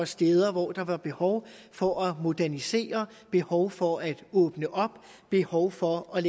steder hvor der var behov for at modernisere behov for at åbne op og behov for at